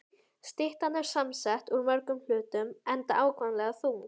Styttan er samsett úr mörgum hlutum, enda ákaflega þung.